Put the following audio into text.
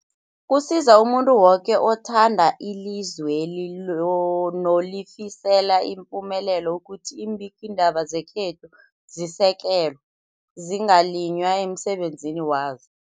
Kusiza umuntu woke othanda ilizweli lo nolifisela ipumelelo ukuthi iimbikiindaba zekhethu zisekelwe, zingaliywa emsebenzini wazo.